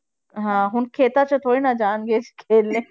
ਹਾਂ ਹੁਣ ਖੇਤਾਂ 'ਚ ਥੋੜ੍ਹੀ ਨਾ ਜਾਣਗੇ ਖੇਲਣੇ।